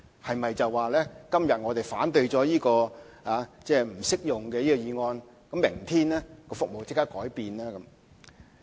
是不是今天我們反對這項"計劃不適用於新專營權"的議案，明天服務就會立刻改變呢？